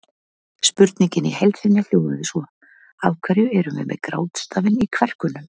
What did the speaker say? Spurningin í heild sinni hljóðaði svo: Af hverju erum við með grátstafinn í kverkunum?